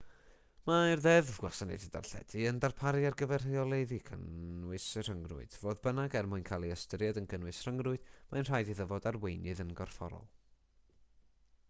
mae'r ddeddf gwasanaethau darlledu yn darparu ar gyfer rheoleiddio cynnwys y rhyngrwyd fodd bynnag er mwyn cael ei ystyried yn gynnwys rhyngrwyd mae'n rhaid iddo fod ar weinydd yn gorfforol